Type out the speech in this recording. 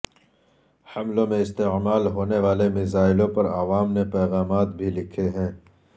حملوں میں استعمال ہونے والے میزائلوں پر عوام نے پیغامات بھی لکھے ہیں